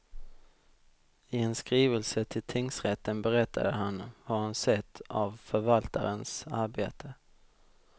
I en skrivelse till tingsrätten berättade han vad han sett av förvaltarens arbete.